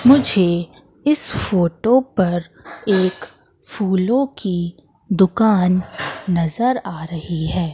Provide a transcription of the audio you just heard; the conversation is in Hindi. मुझे इस फोटो पर एक फूलों की दुकान नजर आ रही है।